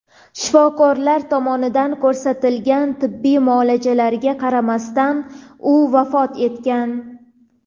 Shifokorlar tomonidan ko‘rsatilgan tibbiy muolajalarga qaramasdan u vafot etgan.